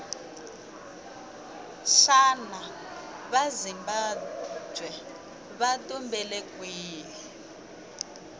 shana vazimbabwe vatumbele kwihhi